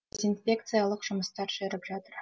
дезинфекциялық жұмыстар жүріп жатыр